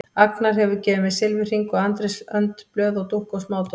Agnar hefur gefið mér silfurhring og Andrés önd blöð og dúkku og smádót.